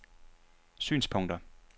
synspunkter